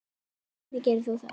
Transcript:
Hvernig gerir hún það?